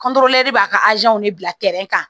b'a ka de bila kan